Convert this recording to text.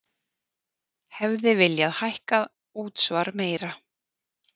Hefði viljað hækka útsvar meira